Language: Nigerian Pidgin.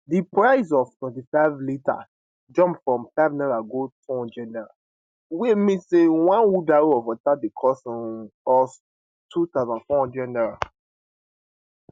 di price of 25 liters jump from n50 go n200 wey mean say one wheelbarrow of water dey cost um us n2400